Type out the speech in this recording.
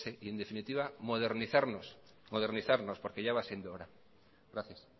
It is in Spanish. y en definitiva modernizarnos porque ya va siendo hora gracias